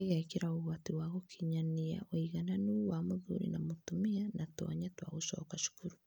ĩgekĩra ũgwati wa gũkinyanĩa ũigananu wa mũthuri na mũtumia na tũanya twa gũcoka cukuru.